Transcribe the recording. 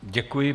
Děkuji.